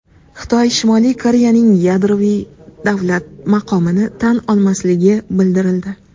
Xitoy Shimoliy Koreyaning yadroviy davlat maqomini tan olmasligi bildirildi.